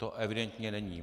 To evidentně není.